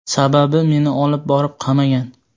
Sababi meni olib borib qamagan.